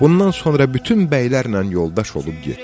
Bundan sonra bütün bəylərlə yoldaş olub getdilər.